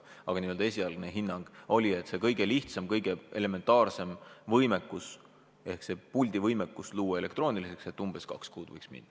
Aga esialgne hinnang oli, et see kõige lihtsam, elementaarne võimekus ehk elektroonilise puldi võimekus võiks võtta umbes kaks kuud.